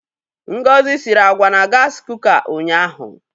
Ngozi siri àgwà na gasị kuka ụnyaahụ.